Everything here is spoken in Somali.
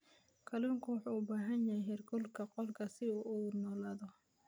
Kalluunku wuxuu u baahan yahay heerkulka qolka si uu u noolaado.